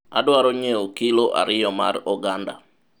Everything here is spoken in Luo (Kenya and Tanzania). adwaro nyiewo kilo ariyo mar oganda